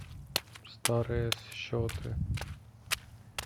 старые счеты